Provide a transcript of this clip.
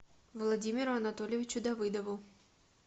владимиру анатольевичу давыдову